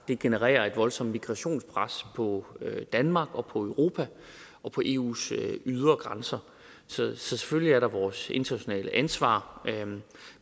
det genererer et voldsomt migrationspres på danmark og på europa og eus ydre grænser så selvfølgelig er der vores internationale ansvar